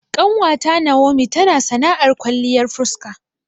Ƙanwata Nawomi tana sana'ar kwalliyar fuska